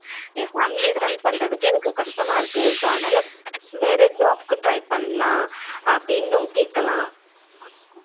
என் family run பண்ணுறதுக்கு எனக்கு கஷ்டமா இருக்கு so அதுனால வேற job க்கு try பண்ணலாம் அப்படினும் கேக்கலாம்